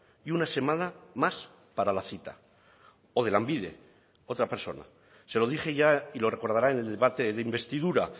y una semana más para la cita o de lanbide otra persona se lo dije ya y lo recordará en el debate de investidura